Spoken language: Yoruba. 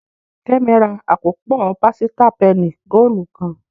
Kemi rà akopọ pasita penny goolu kán